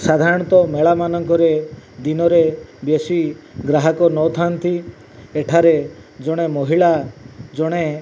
ସାଧାରଣତଃ ମେଳାମାନଙ୍କ ରେ ଦିନରେ ବେଶୀ ଗ୍ରାହକନଥାନ୍ତି ଏଠାରେ ଜଣେ ମହିଳା ଜଣେ --